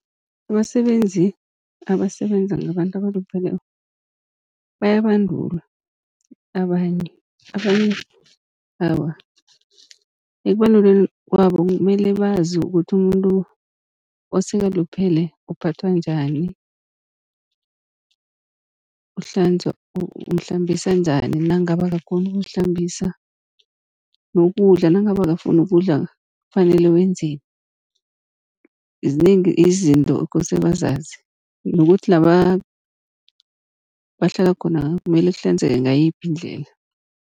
Abasebenzi abasebenza ngabantu abalupheleko bayabandulwa abanye, abanye awa ekubandulweni kwabo kumele bazi ukuthi umuntu osekaluphele uphathwa njani, umhlambisa njani nangabe akakghoni ukuzihlambisa, nokudla nangabe akafuni ukudla kufanele wenzeni. Zinengi izinto ekose bazazi nokuthi la bahlala khona kumele kuhlanzeke ngayiphi indlela.